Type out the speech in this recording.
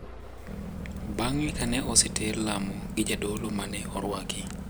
Bng`e ka ne oseter lamo gi jadolo ma ne orwaki.